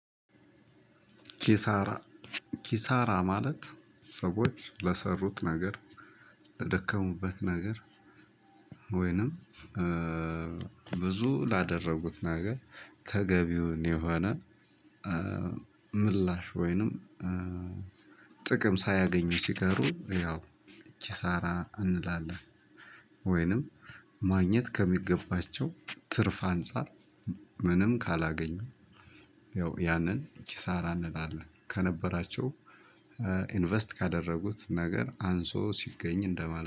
ኪሳራ ማለት ሰዎች ለሰሩት ነገር ለደከሙበት ነገር ወይንም ብዙ ላደረጉት ነገር ተገቢውን የሆነ ምላሽ ወይንም ጥቅም ሳያገኙ ሲቀሩ ያው ኪሳራ እንላለን። ወይንም ማግኘት ከሚገባቸው ትርፍ አንፃር ምንም ካላገኙ ያው ያንን ኪሳራ እንላለን። ከነበራቸው ኢንቨስት ከዳረጉት ነገር አንሶ ስገኝ እንደማለት ነ።